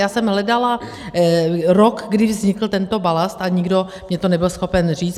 Já jsem hledala rok, kdy vznikl tento balast, a nikdo mi to nebyl schopen říct.